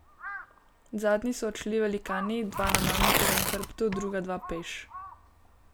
Zadnji so odšli velikani, dva na mamutovem hrbtu, druga dva peš.